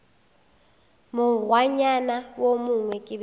mokgwanyana wo mongwe ke be